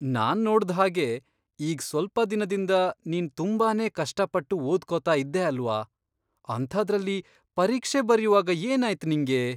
ನಾನ್ ನೋಡ್ದ್ ಹಾಗೆ ಈಗ್ ಸ್ವಲ್ಪ ದಿನದಿಂದ ನೀನ್ ತುಂಬಾನೇ ಕಷ್ಟಪಟ್ಟು ಓದ್ಕೊತಾ ಇದ್ದೆ ಅಲ್ವಾ, ಅಂಥಾದ್ರಲ್ಲಿ ಪರೀಕ್ಷೆ ಬರ್ಯುವಾಗ ಏನಾಯ್ತ್ ನಿಂಗೆ?!